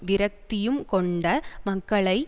விரக்தியும் கொண்ட மக்களை